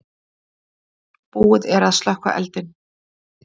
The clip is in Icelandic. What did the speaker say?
Búið er að slökkva eldinn.